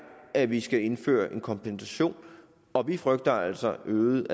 at vi skal indføre en kompensation og vi frygter altså øgede